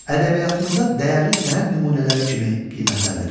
Ədəbiyyatımızda dəyərli sənət nümunələri kimi qiymətləndirilir.